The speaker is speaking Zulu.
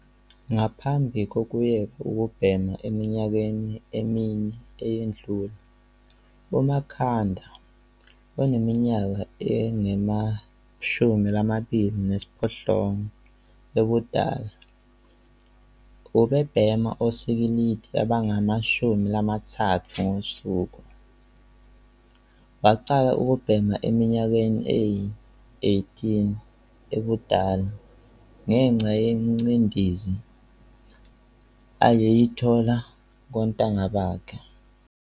Ngaphambi kokuyeka ukubhema eminyakeni emine eyedlule, uMakha nda, oneminyaka engama-28 ubudala, ubebhema osikilidi abangama-30 ngosuku. Waqala ukubhema eneminyaka eyi-18 ubudala ngenxa yengcindezi ayeyithola kontanga bakhe.